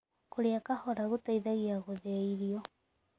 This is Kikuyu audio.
Kũrĩa kahora gũteĩthagĩa gũthĩĩa irio